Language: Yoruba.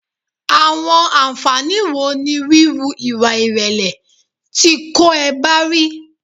Àwọn ànfàní wo ni wíwù ìwà ìrẹ̀lẹ̀ ti kó e ba ri?